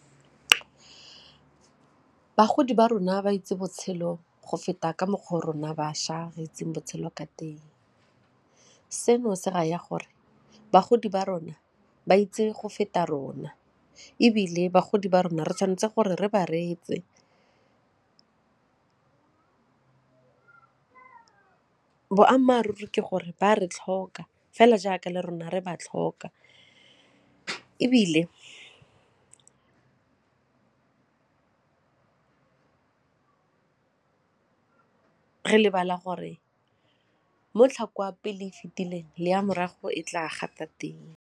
Bagodi ba rona ba itse botshelo go feta ka mokgwa o rona bašwa re itseng botshelo ka teng. Seno se raya gore bagodi ba rona ba itse go feta rona ebile bagodi ba rona re tshwanetse gore re ba reetse boammaaruri ke gore ba re tlhoka fela jaaka le rona re ba tlhoka ebile re lebala gore mo tlhako ya pele e fetileng le ya morago e tla gata teng.